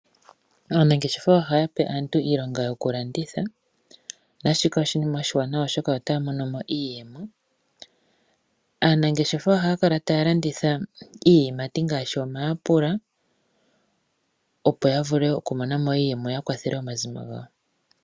Aanangeshefa ohaya pe aantu iilonga yokulanditha naashika oshinima oshiwanawa oshoka otaya monomo iiyemo. Aanangeshefa ohaya kala taya landitha iiyimati ngaashi omayapula opo ya vule okumonamo iiyemo yo ya kwathele omazimo gawo.